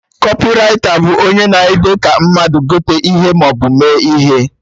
Kọpịraita bụ onye na-ede ka mmadụ gote ihe maọbụ mee ihe